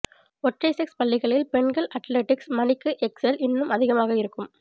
ஒற்றை செக்ஸ் பள்ளிகளில் பெண்கள் அட்லெடிக்ஸ் மணிக்கு எக்செல் இன்னும் அதிகமாக இருக்கும்